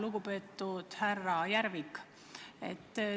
Lugupeetud härra Järvik!